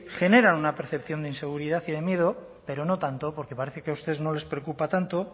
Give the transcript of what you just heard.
genera una percepción de inseguridad y de miedo pero no tanto porque parece que a ustedes no les preocupa tanto